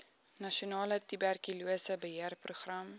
nasionale tuberkulose beheerprogram